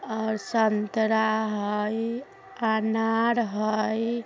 आ संतरा हइ अनार हइ।